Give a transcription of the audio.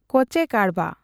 ᱠᱚᱸᱪᱮ ᱠᱟᱬᱵᱟ